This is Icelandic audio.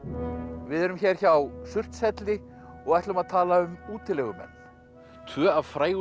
við erum hér hjá Surtshelli og ætlum að tala um útilegumenn tvö af frægustu